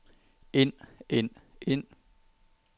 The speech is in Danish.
ind ind ind